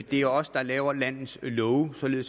det er os der laver landets love sådan